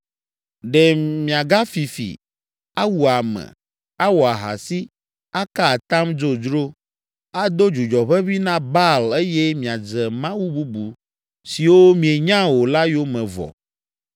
“ ‘Ɖe miagafi fi, awu ame, awɔ ahasi, aka atam dzodzro, ado dzudzɔ ʋeʋĩ na Baal eye miadze mawu bubu siwo mienya o la yome vɔ,